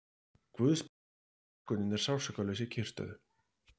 Guðsblessun að kölkunin er sársaukalaus í kyrrstöðu.